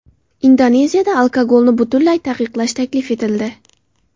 Indoneziyada alkogolni butunlay taqiqlash taklif etildi.